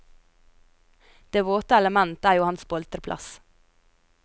Det våte element er jo hans boltreplass.